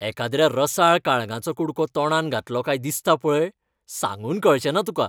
एकाद्र्या रसाळ काळंगाचो कुडको तोंडांत घातलो काय दिसता पळय, सांगून कळचें ना तुका.